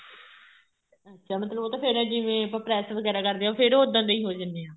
ਅੱਛਾ ਉਹ ਤਾਂ ਫੇਰ ਜਿਵੇਂ ਆਪਾਂ press ਵਗੈਰਾ ਕਰਦੇ ਆ ਫੇਰ ਉੱਦਾਂ ਦੇ ਹੋ ਜਾਣੇ ਆ